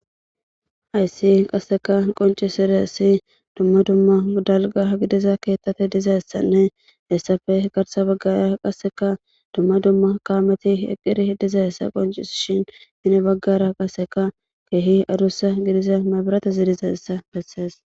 Haysi qassika qonccissizayssi dumma dumma dalgga gidiza keeththathi dizayssanne hessappe garssa baggaara qassikka dumma dumma kaamethi eqqidi dizayssa qonccissishin hini baggara qassika keehi adussa gidiza mebraathe zerizessa bessees.